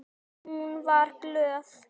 Hún var glöð.